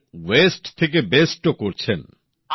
আর waste থেকে best ও করছেন